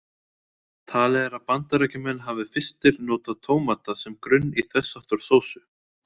Talið er að Bandaríkjamenn hafi fyrstir notað tómata sem grunn í þess háttar sósu.